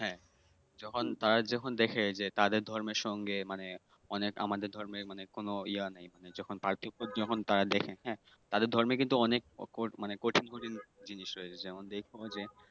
হ্যাঁ যখন তারা যখন দেখে যে তাদের ধর্মের সঙ্গে মানে অনেক আমাদের ধর্মের কোন ইয়া নেই মানে যখন পার্থক্য যখন তারা দেখে হ্যাঁ তাদের ধর্মের কিন্তু অনেক মানে কঠিন কঠিন জিনিস রয়েছে। যেমন দেইখো যে